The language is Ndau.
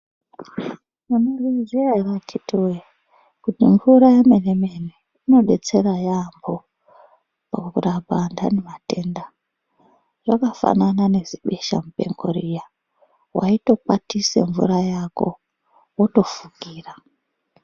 Munozviziya ere akhitiwee, kuti mvura yemene-mene inodetsera yaampho, pakurapa antani matenda . Zvakafanana nezibeshamupengo riya, waitokwatise mvura yako, wotofukira.